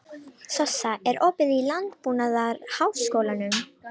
Sossa, er opið í Landbúnaðarháskólanum?